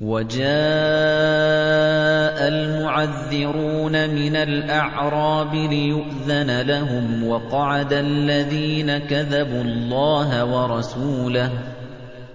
وَجَاءَ الْمُعَذِّرُونَ مِنَ الْأَعْرَابِ لِيُؤْذَنَ لَهُمْ وَقَعَدَ الَّذِينَ كَذَبُوا اللَّهَ وَرَسُولَهُ ۚ